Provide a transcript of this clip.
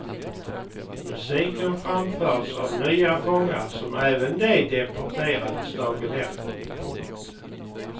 Musiken framfördes av nya fångar som även de deporterades dagen efter. punkt